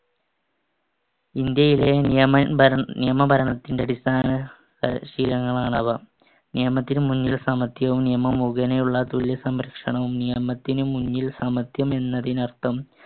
ഇന്ത്യയിലെ നിയമ~ നിയമഭരണത്തിന്‍റെ അടിസ്ഥാന ശീലങ്ങളാണവ. നിയമത്തിനുമുൻപിൽ സമത്വവും നിയമം മുഖേനയുള്ള തുല്യ സംരക്ഷണവും. നിയമത്തിനുമുൻപിൽ സമത്വം എന്നതിന് അർത്ഥം